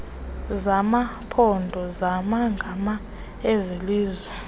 zamaphondo zamagama ezelizwe